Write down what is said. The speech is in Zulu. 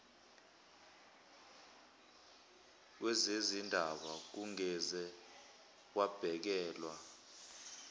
wezezindaba kungeze kwabhekelwa